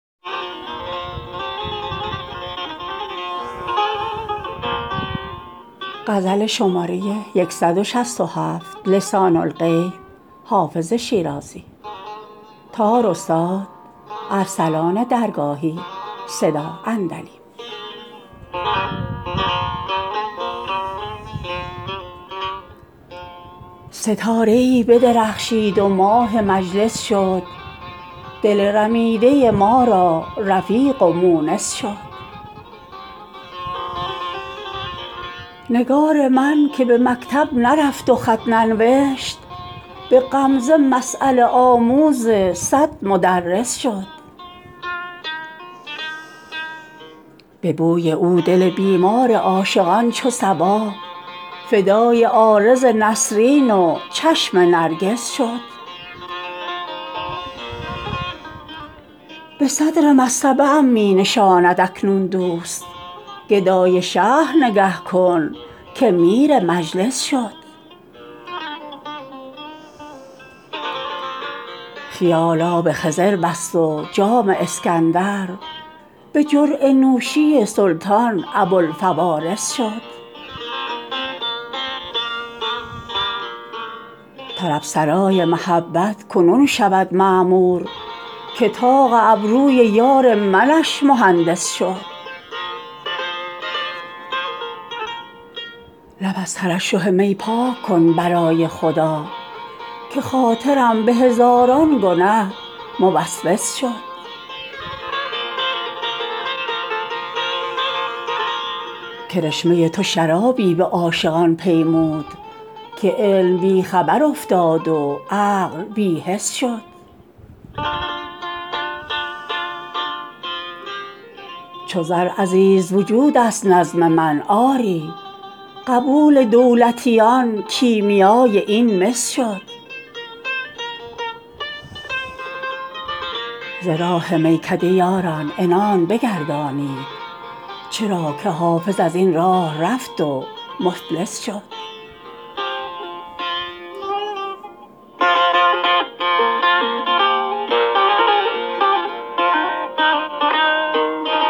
ستاره ای بدرخشید و ماه مجلس شد دل رمیده ما را رفیق و مونس شد نگار من که به مکتب نرفت و خط ننوشت به غمزه مسأله آموز صد مدرس شد به بوی او دل بیمار عاشقان چو صبا فدای عارض نسرین و چشم نرگس شد به صدر مصطبه ام می نشاند اکنون دوست گدای شهر نگه کن که میر مجلس شد خیال آب خضر بست و جام اسکندر به جرعه نوشی سلطان ابوالفوارس شد طرب سرای محبت کنون شود معمور که طاق ابروی یار منش مهندس شد لب از ترشح می پاک کن برای خدا که خاطرم به هزاران گنه موسوس شد کرشمه تو شرابی به عاشقان پیمود که علم بی خبر افتاد و عقل بی حس شد چو زر عزیز وجود است نظم من آری قبول دولتیان کیمیای این مس شد ز راه میکده یاران عنان بگردانید چرا که حافظ از این راه رفت و مفلس شد